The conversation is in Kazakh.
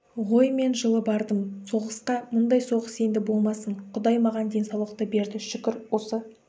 ғой мен жылы бардым соғысқа мұндай соғыс енді болмасын құдай маған денсаулықты берді шүкір осы